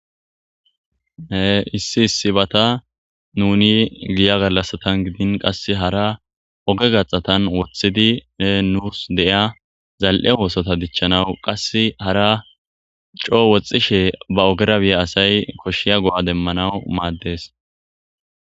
E issi issibata nuni giyya gallasatan giddin qasse aara ogge gaxxatan woththidi nus deiya zal'e oththotta dichchanawu qasse haara coo woxxishe oggera biiza asay koshshiza go'a demanawu madess.